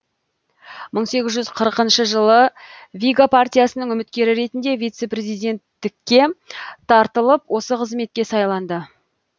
мың сегіз жүз қырықыншы жылы вига партиясының үміткері ретінде вице президенттікке тартылып осы қызметке сайланды